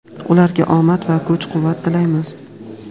Ularga omad va kuch-quvvat tilaymiz.